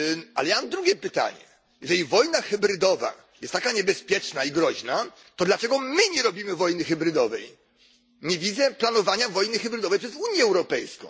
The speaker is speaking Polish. Ale mam drugie pytanie Jeżeli wojna hybrydowa jest taka niebezpieczna i groźna, to dlaczego my nie robimy wojny hybrydowej? Nie widzę planowania wojny hybrydowej przez Unię Europejską.